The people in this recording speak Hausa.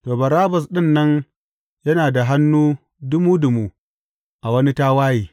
To, Barabbas ɗin nan yana da hannu dumu dumu a wani tawaye.